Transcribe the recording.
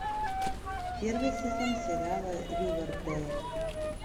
первый сезон сериала ривердейл